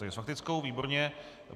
Takže s faktickou, výborně.